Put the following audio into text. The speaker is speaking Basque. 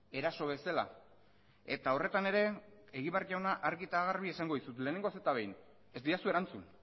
eraso bezala eta horretan ere egibar jauna argi eta garbi esango dizut lehenengoz eta behin